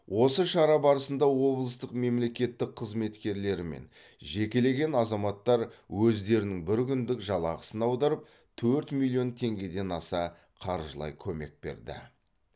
осы шара барысында облыстың мемлекеттік қызметкерлері мен жекелеген азаматтар өздерінің бір күндік жалақысын аударып төрт миллион теңгеден аса қаржылай көмек берді